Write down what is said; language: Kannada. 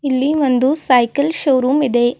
ಇಲ್ಲಿ ಒಂದು ಸೈಕಲ್ ಶೋರೂಮ್ ಇದೆ.